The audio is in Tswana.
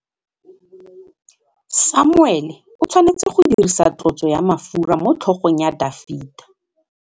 Samuele o tshwanetse go dirisa tlotsô ya mafura motlhôgong ya Dafita.